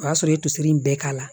O y'a sɔrɔ i tosi in bɛɛ k'a la